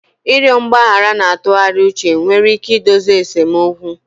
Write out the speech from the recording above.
Ịrịọ mgbaghara na itughari uche nwere ike idozi esemokwu